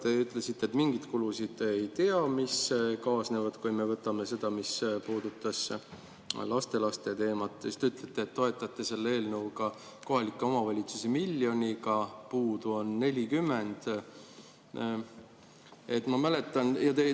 Te ütlesite, et te ei tea mingeid kulusid, mis kaasnevad, mis puudutab lastelaste teemat, siis te ütlesite, et toetate selle eelnõuga kohalikke omavalitsusi miljoniga, puudu on 40.